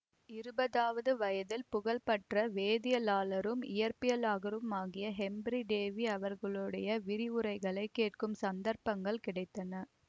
இருபதாவது வயதில் புகழ் பெற்ற வேதியியலாளரும் இயற்பியலாகருமாகிய ஹெம்ப்ரி டேவி அவர்களுடைய விரிவுரைகளைக் கேட்கும் சந்தர்ப்பங்கள் கிடைத்தன